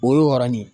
O y'o yɔrɔnin ye